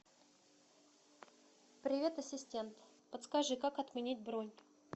привет ассистент подскажи как отменить бронь